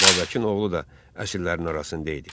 Babəkin oğlu da əsirlərin arasında idi.